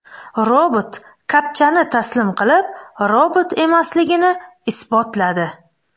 Robot kapchani taslim qilib, robot emasligini isbotladi .